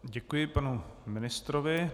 Děkuji panu ministrovi.